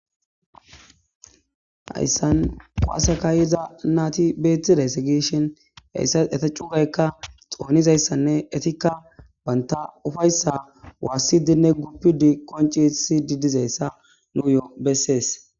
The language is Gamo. Hayssan qowaasekayeza naati beethtiday segeshen heyssa eta cugaykka xoonizayssanne etikka banta ufayssa waassidinne guppudi qoncesi didizayssa nuu yoo bessees.